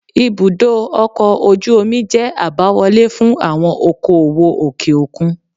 Ibùdó ọkọ̀ ojú omi jẹ́ àbáwọlé fún àwọn okoòwò òkè òkun.